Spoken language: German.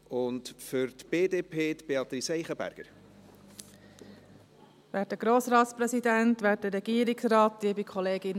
Wir wurden aufgefordert, uns in dieser Sache kurz zu halten.